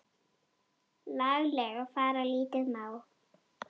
laglega fara lítið má.